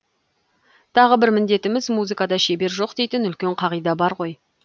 тағы бір міндетіміз музыкада шебер жоқ дейтін үлкен қағида бар ғой